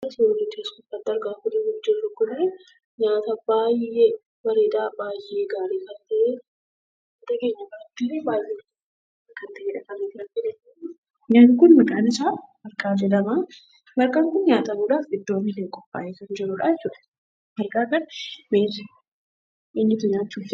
Suuraan asirratti argaa jirru kun nyaata baay'ee bareedaa ,baay'ee gaarii kan maqaan isaa marqaa jedhama. Marqaan kun nyaatamuudhaaf qophaayee kan jirudha jechuudha. Marqaa kana eenyutu nyaachuu jaallata?